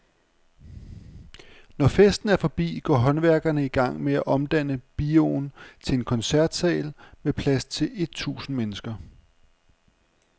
Når festen er forbi, går håndværkere i gang med at omdanne bioen til koncertsal med plads til et tusind mennesker.